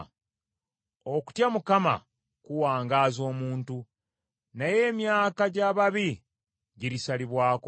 Okutya Mukama kuwangaaza omuntu, naye emyaka gy’ababi girisalibwako.